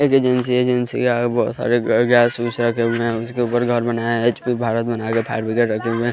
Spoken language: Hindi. एक एजेंसी है एजेंसी के आगे बहुत सारे गैस गुस रखे हुए हैं उसके ऊपर घर बनाया है जो कि भारत बना के फायर ब्रिगेड रखे हुए हैं।